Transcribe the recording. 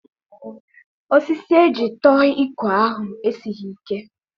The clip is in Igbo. Osisi eji tụọ ekwe ahụ esighị ike.